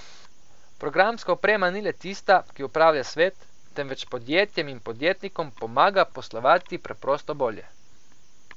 Programska oprema ni le tista, ki upravlja svet, temveč podjetjem in podjetnikom pomaga poslovati preprosto bolje.